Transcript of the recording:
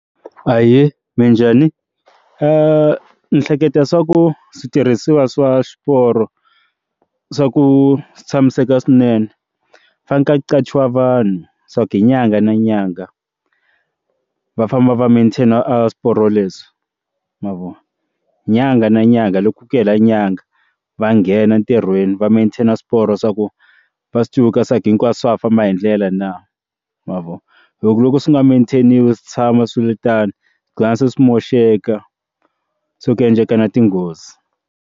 Ahee, minjhani? ndzi hleketa swa ku switirhisiwa swa swiporo swa ku tshamiseka swinene ku fane ku qhachiwa vanhu swa ku hi nyanga na nyanga va famba va maintain a swiporo leswi mavona nyanga na nyanga loku ku hela nyanga va nghena ntirhweni va mantain na swiporo swa ku va swi civuka hinkwaswo swa ha famba hi ndlela na mavoni hi ku loko swi nga maintain-iwi swi tshama swiritano swighina swi moxeka so ku endleka na tinghozi.